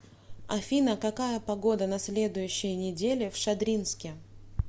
афина какая погода на следующей неделе в шадринске